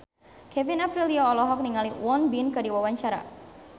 Kevin Aprilio olohok ningali Won Bin keur diwawancara